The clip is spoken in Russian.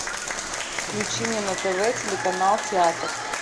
включи мне на тв телеканал театр